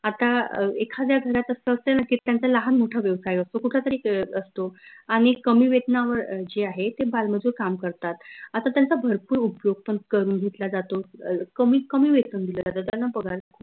आता अं एखाद्या घरात असं असते ना की त्यांचा लाहान मोठा व्यवसाय असतो. कुठला तरी अह असतो आनि कमी वेतनावर जे आहे ते बाल मजूर काम करतात आता त्यांचा भरपूर उपयोग पन करून घेतला जातो अह कमीत कमी वेतन दिल जात त्यांना पगार